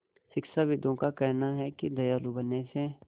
शिक्षाविदों का कहना है कि दयालु बनने से